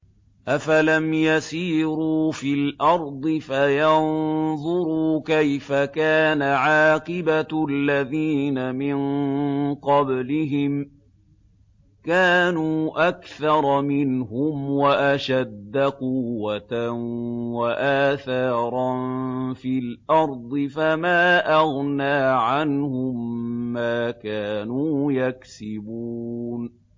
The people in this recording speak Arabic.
أَفَلَمْ يَسِيرُوا فِي الْأَرْضِ فَيَنظُرُوا كَيْفَ كَانَ عَاقِبَةُ الَّذِينَ مِن قَبْلِهِمْ ۚ كَانُوا أَكْثَرَ مِنْهُمْ وَأَشَدَّ قُوَّةً وَآثَارًا فِي الْأَرْضِ فَمَا أَغْنَىٰ عَنْهُم مَّا كَانُوا يَكْسِبُونَ